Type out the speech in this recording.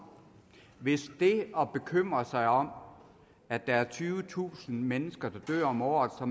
hvis det at bekymre sig om at der er tyvetusind mennesker der dør om året og